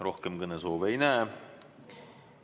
Rohkem kõnesoove ei näe.